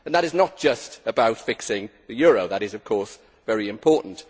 This is not just about fixing the euro, which is of course very important.